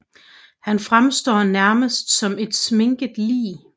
Han fremstår nærmest som et sminket lig